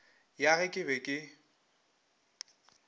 ya ge ke be ke